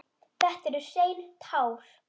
Þetta eru hrein tár.